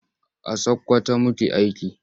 A Sakwkwato muke aiki.